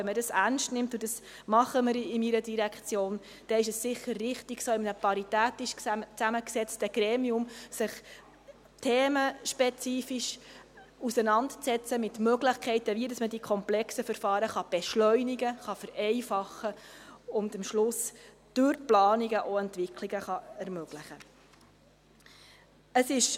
Wenn man dies ernst nimmt – und dies tun wir in meiner Direktion –, dann ist es sicher richtig, wenn man sich in einem paritätisch zusammengesetzten Gremium themenspezifisch mit Möglichkeiten auseinandersetzt, wie man die komplexen Verfahren beschleunigen, vereinfachen und am Schluss durch Planungen auch Entwicklungen ermöglichen kann.